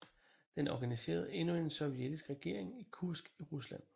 Den organiserede endnu en sovjetisk regering i Kursk i Rusland